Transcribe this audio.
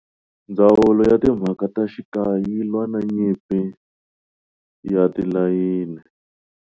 Ndzawulo ya Timhaka ta Xikaya yi lwa na nyimpi ya tilayini.